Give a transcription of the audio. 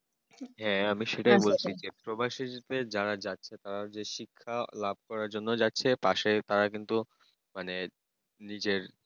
হ্যাঁ আমি সেটাই বলছি যে প্রবাসে যেতে যারা যাচ্ছে তারা শিক্ষা লাভ করার জন্য যাচ্ছে পাশে তারা কিন্তু মানে নিজের